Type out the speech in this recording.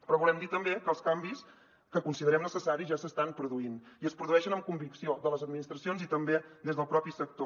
però volem dir també que els canvis que considerem necessaris ja s’estan produint i es produeixen amb convicció de les administracions i també des del propi sector